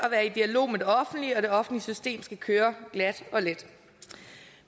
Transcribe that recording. at være i dialog med det offentlige og det offentlige system skal køre glat og let